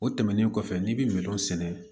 O tɛmɛnen kɔfɛ n'i bɛ min sɛnɛ